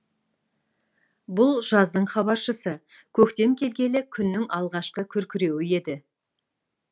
бұл жаздың хабаршысы көктем келгелі күннің алғашқы күркіреуі еді